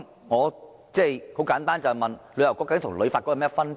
我想請問，究竟旅遊局與旅發局有甚麼分別？